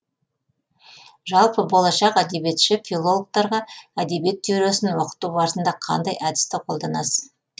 жалпы болашақ әдебиетші филологтарға әдебиет теориясын оқыту барысында қандай әдісті қолданасыз